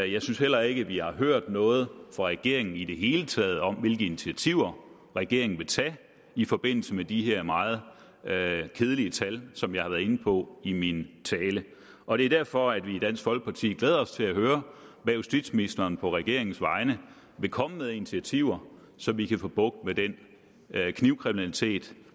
jeg synes heller ikke vi har hørt noget fra regeringen i det hele taget om hvilke initiativer regeringen vil tage i forbindelse med de her meget kedelige tal som jeg har været inde på i min tale og det er derfor vi i dansk folkeparti glæder os til at høre hvad justitsministeren på regeringens vegne vil komme med af initiativer så vi kan få bugt med den knivkriminalitet